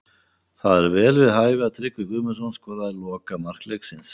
Það var vel við hæfi að Tryggvi Guðmundsson skoraði lokamark leiksins.